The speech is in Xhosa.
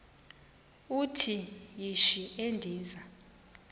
uthi yishi endiza